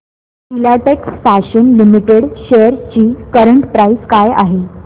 Filatex fashions limited shares ची current price काय आहे